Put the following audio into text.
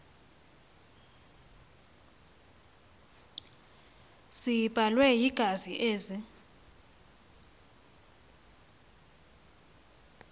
ziblelwe yingazi ezi